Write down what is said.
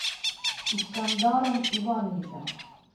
искандаром ивановичем